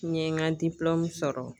N ye n ka sɔrɔ.